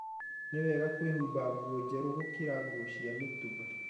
Nĩ wega kwĩhumba nguo njerũ gũkĩra nguo cia mũtũmba.